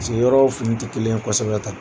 piseke yɔrɔw fini tɛ kelen ye kosɛbɛ kuwa.